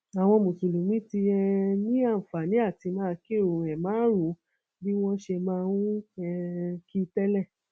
àwọn mùsùlùmí ti um ní àǹfààní àti máa kírun ẹẹmarùnún bí wọn ṣe máa ń um kí i tẹlẹ